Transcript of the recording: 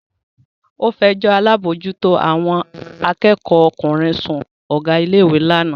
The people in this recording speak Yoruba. Ó fẹjọ́ alábòójútó àwọn akẹ́kọ̀ọ́ ọkùnrin sun Ọ̀gá ilé ìwé lánàá